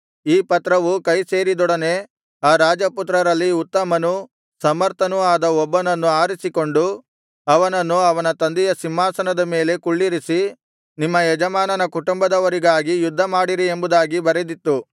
ಈ ಪತ್ರವು ಕೈ ಸೇರಿದೊಡನೆ ಆ ರಾಜ ಪುತ್ರರಲ್ಲಿ ಉತ್ತಮನೂ ಸಮರ್ಥನೂ ಆದ ಒಬ್ಬನನ್ನು ಆರಿಸಿಕೊಂಡು ಅವನನ್ನು ಅವನ ತಂದೆಯ ಸಿಂಹಾಸನದ ಮೇಲೆ ಕುಳ್ಳಿರಿಸಿ ನಿಮ್ಮ ಯಜಮಾನನ ಕುಟುಂಬದವರಿಗಾಗಿ ಯುದ್ಧಮಾಡಿರಿ ಎಂಬುದಾಗಿ ಬರೆದಿತ್ತು